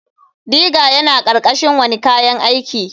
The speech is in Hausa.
Digger yana ƙarƙashin wane kayan aiki.